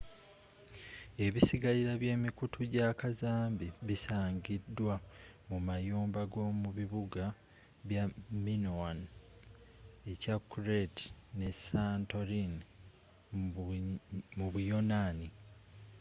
ebisigalira bye mikutu gya kazambi bisangidwa mu mayumba g'omu bibuga bya minoan ekya crete ne santorin mu buyonaani